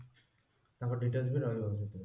ତାଙ୍କ details ବି ରହିବ ସେଥିରେ